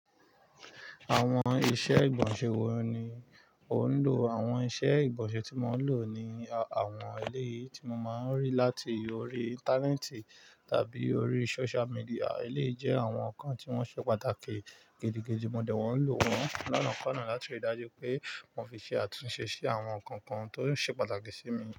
Àwọn iṣẹ́ ìgbọ̀nsẹ̀ wo ni o ń lò? Àwọn iṣẹ́ ìgbọ̀nsẹ̀ tí mo ń lò ni àwọn ilé tí mo máa ń rí láti orí Íńtánẹ́ẹ̀tì tàbí orí social media. Ilé jẹ́ àwọn kan tí wọ́n ṣe pàtàkì. Gidìgidì, mo dẹ̀ mọ́n ń lò wọ́n lonàá konná láti rí i dájú pé mo fi ṣe àtúnṣe sí àwọn nǹkan kan tó ṣe pàtàkì sí mi.